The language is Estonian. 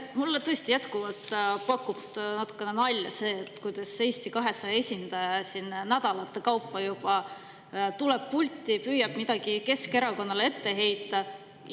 Mulle tõesti jätkuvalt teeb natukene nalja see, kuidas Eesti 200 esindaja on juba nädalate viisi pulti tulnud ja püüdnud midagi Keskerakonnale ette heita.